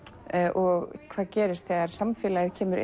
og hvað gerist þegar samfélagið kemur